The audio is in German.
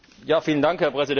Herr Präsident!